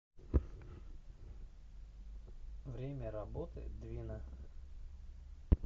время работы двина